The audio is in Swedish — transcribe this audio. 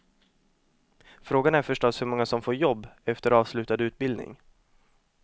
Frågan är förstås hur många som får jobb efter avslutad utbildning.